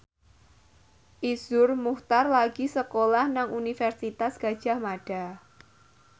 Iszur Muchtar lagi sekolah nang Universitas Gadjah Mada